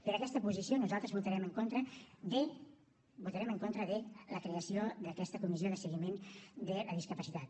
per aquesta posició nosaltres votarem en contra de la creació d’aquesta comissió de seguiment de la discapacitat